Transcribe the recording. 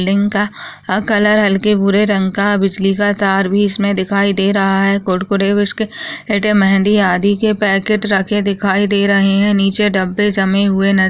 लिन का कलर हल्के भूरे रंग का है बिजली का तार भी इसमें दिखाई दे रहा है कुरकुरे बिस्किट मेहंदी आदि के पैकेट रखे दिखाई दे रहे हैं नीचे डब्बे जमे हुए नजर --